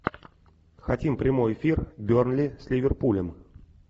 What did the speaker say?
хотим прямой эфир бернли с ливерпулем